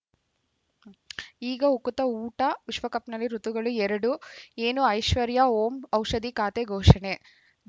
ಈಗ ಉಕುತ ಊಟ ವಿಶ್ವಕಪ್‌ನಲ್ಲಿ ಋತುಗಳು ಎರಡು ಏನು ಐಶ್ವರ್ಯಾ ಓಂ ಔಷಧಿ ಖಾತೆ ಘೋಷಣೆ